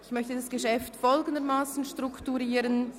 Ich möchte das Geschäft folgendermassen strukturieren: